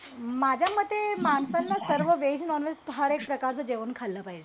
माझ्यामते माणसाना सर्व व्हेज नॉनव्हेज हर एक प्रकारच जेवण खाल्ल पाहिजे